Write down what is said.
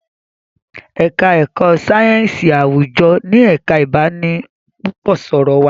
èka èko sáyẹnsì àwùjọ ní ẹka ibanipúpò sọrọ wá